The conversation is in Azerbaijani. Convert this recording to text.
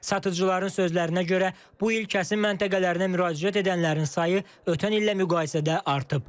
Satıcıların sözlərinə görə bu il kəsim məntəqələrinə müraciət edənlərin sayı ötən illə müqayisədə artıb.